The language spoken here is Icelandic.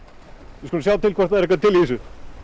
við skulum sjá til hvort það er eitthvað til í þessu